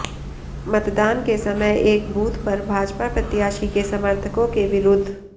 मतदान के समय एक बूथ पर भाजपा प्रत्याशी के समर्थकों के विरुद्ध